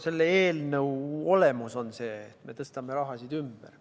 Selle eelnõu olemus on see, et me tõstame raha, erinevaid kulusid ümber.